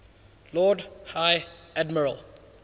lord high admiral